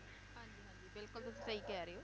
ਹਾਂਜੀ ਹਾਂਜੀ ਬਿਲਕੁਲ ਤੁਸੀਂ ਸਹੀ ਕਹਿ ਰਹੇ ਹੋ